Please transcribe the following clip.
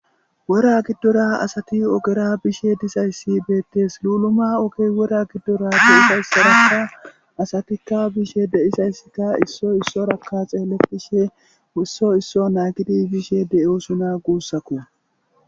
Wora giddora asati ogera bishe dizaysi beetees. Luuluma oge wora giddoraka asatika bishe de'izaysika issoy issaraka xeeletishe issoy issa naagidi bishe de'osona guusako.